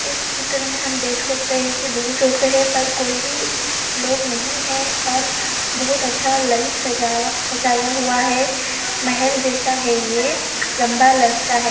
इस चित्र में हम देख सकते हे की बहु सोफ़े हे पर कोई भी लोग नहीं है और बहुत अच्छा लाइट सजावा सजाया हुआ है। महल जैसा है ये। लंबा है।